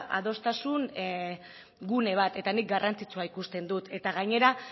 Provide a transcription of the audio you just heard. adostasun gune bat eta nik garrantzitsua ikusten dut eta gainera